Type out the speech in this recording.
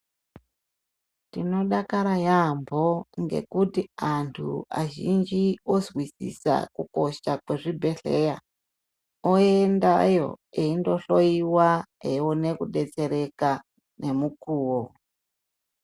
Tinodakara yaamho ngekuti antu azhinji ozwisisa kukosha kwezvibhedhera, oendayo eindohoyiwa, eione kudetsereka nemukuwo.